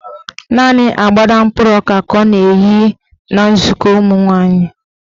Naanị agbada mkpụrụ ọka ka ọ na-eyi aga nzukọ ụmụnwaanyị.